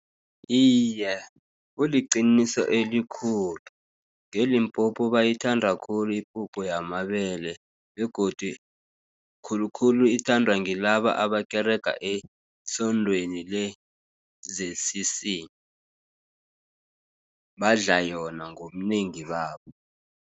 Iye, kuliqiniso elikhulu, nge-Limpopo bayithanda khulu ipuphu yamabele, begodu khulukhulu ithandwa ngilaba abakerega esondweni le-Z_C_C, badla yona ngobunengi babo.